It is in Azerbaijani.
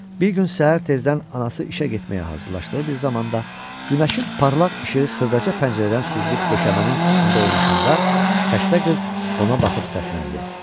Bir gün səhər tezdən anası işə getməyə hazırlaşdığı bir zamanda, günəşin parlaq işığı xırdaca pəncərədən süzülüb döşəmənin üstündə oynaşanda xəstə qız ona baxıb səsləndi.